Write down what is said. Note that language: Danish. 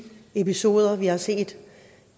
episoder vi har set